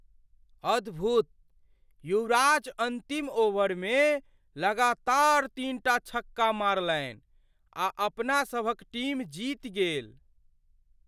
अद्भुत! युवराज अन्तिम ओवरमे लगातार तीनटा छक्का मारलनि आ अपना सभक टीम जीति गेल।